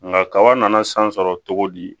Nka kaba nana san sɔrɔ cogo di